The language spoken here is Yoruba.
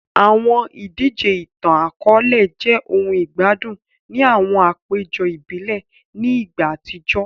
Awọn idije itan-akọọlẹ jẹ ohun igbadun ni awọn apejọ ibile ni igba atijọ